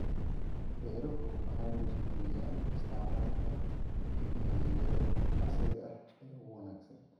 Beeruhu waxay dhiirigeliyaan isticmaalka tignoolajiyada casriga ah ee ugu wanaagsan.